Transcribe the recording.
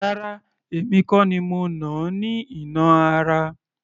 Rárá! Èmi kò ni mo nà á ní ìnà ara